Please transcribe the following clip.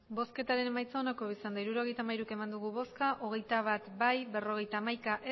botoak hirurogeita hamairu bai hogeita bat ez berrogeita hamaika